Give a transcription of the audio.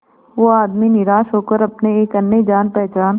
वो आदमी निराश होकर अपने एक अन्य जान पहचान